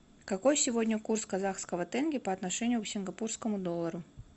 какой сегодня курс казахского тенге по отношению к сингапурскому доллару